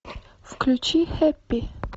включи хэппи